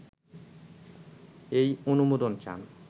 এই অনুমোদন চান